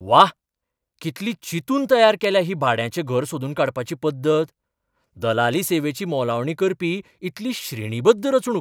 व्वा, कितली चिंतून तयार केल्या ही भाड्याचें घर सोदून काडपाची पद्दत. दलाली सेवेची मोलावणी करपी इतली श्रेणीबद्ध रचणूक!